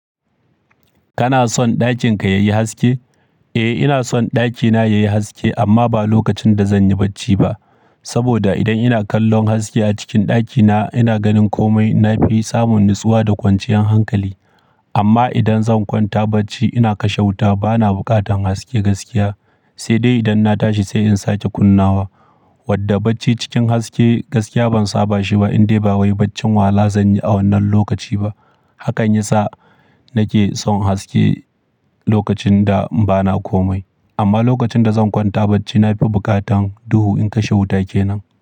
Kana son ɗakin ka yayi haske? Eh ina son ɗakina yayi haske amma ba lokacin da zanyi bacci ba. Saboda idan ina kallon haske a cikin ɗakina ina ganin komai nafi samun natsuwa da kwanciyan hankali. Amma idan zan kwanta bacci ina kashe wuta bana bukatan haske gaskiya, sai dai idan na tashi sai in sake kunnawa. Wadda bacci cikin haske gaskiya ban saba shi ba indai ba wai baccin wahala zanyi a wannan lokaci ba. Hakan yasa nake son haske lokacin da bana komai. Amma lokacin da zan kwanta bacci nafi bukatan duhu in kashe wuta kenan.